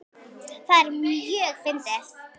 Það er mjög fyndið.